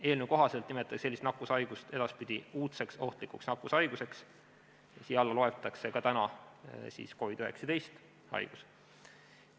Eelnõu kohaselt nimetatakse sellist nakkushaigust edaspidi uudseks ohtlikuks nakkushaiguseks ja siia hulka loetakse ka COVID-19 haigus.